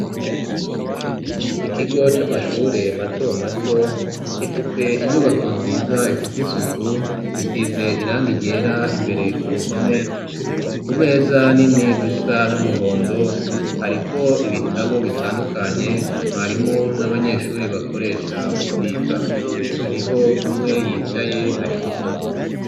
Ikigo c'amashure mato mato gifise inyubako nziza ifise isuku isize irangi ryera imbere ku ruhome kumeza nini zisa n'umuhondo hariko ibitabo bitandukanye mwarimu n'abanyeshure bakoresha mu kwiga hariho umwe yicaye ari gusoma.